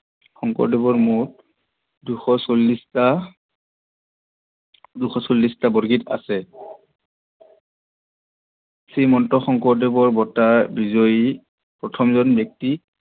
শংকৰদেৱৰ মুঠ দুশ চল্লিশটা দুশ চল্লিশটা বৰগীত আছে। শ্ৰীমন্ত শংকৰদেৱৰ বটা বিজয়ী প্ৰথমজন ব্যক্তি